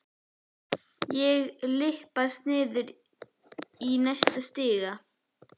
Og ég lyppast niður í næsta stiga.